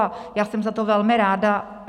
A já jsem za to velmi ráda.